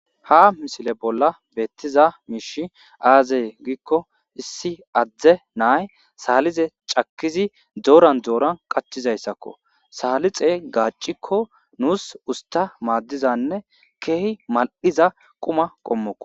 Ha misile bolla beetizay aaze gizaysa gidiko isssi adde nay saalixe cakkishe shiishidi dooran dooran qachchizaysako.salixey gaaciko nuus usta maadiza ne keehi mal'iza quma qommoko.